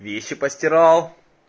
вещи постирал